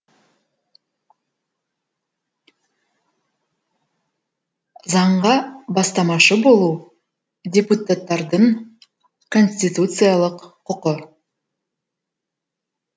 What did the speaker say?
заңға бастамашы болу депуттардың конституциялық құқы